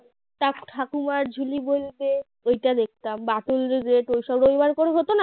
. ঠাকুমার ঝুলি বলতে এটা দেখতাম বাটুল the great ওইসবের গল্পের ঘটনা